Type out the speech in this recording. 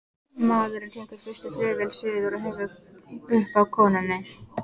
Maðurinn tekur fyrstu flugvél suður og hefur upp á konunni.